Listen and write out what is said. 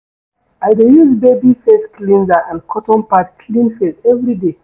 I dey use baby face cleanser and cotton pad clean face everyday.